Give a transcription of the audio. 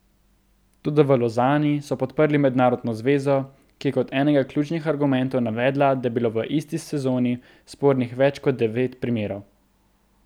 Toda v Lozani so podprli mednarodno zvezo, ki je kot enega ključnih argumentov navedla, da je bilo v isti sezoni spornih več kot devet primerov.